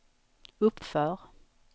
uppför